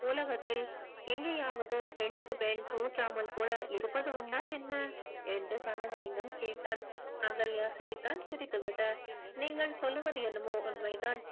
உலகத்தில் எங்கேயாவது பெண்ணுக்கு பெண் தூற்றாமல் கூட இருப்பது உண்டா என்ன என்று கனகலிங்கம் கேட்டான் அகல்யா சிரித்தாள் சிரித்துவிட்டு நீங்கள் சொல்லுவது என்னமோ உண்மைதான்